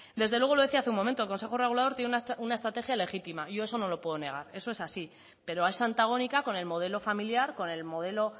desde luego lo decía hace un momento el consejo regulador tiene una estrategia legítima yo eso no lo puedo negar eso es así pero es antagónica con el modelo familiar con el modelo